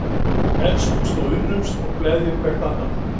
Elskumst og unnumst og gleðjum hvert annað.